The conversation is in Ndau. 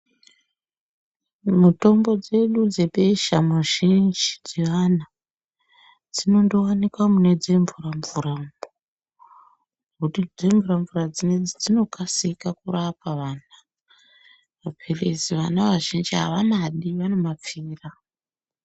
Mitombo dzedu dzebesha mizhinji dzeana dzinondowanikwa mune dzemvura mvura mwo ngekuti dzemvuramvura dzinedzi dzinokasika kurapa vanhu. Maphirizi vana vazhinji avamadi vanomapfira.